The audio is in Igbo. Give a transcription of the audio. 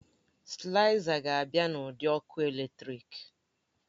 Sịlaizas ga-abịa n'ụdị ọkụ eletrik